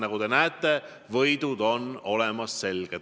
Nagu te näete, võidud on selged.